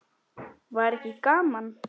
Var ekki gaman?